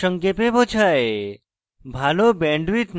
এটি প্রকল্পকে সারসংক্ষেপে বোঝায়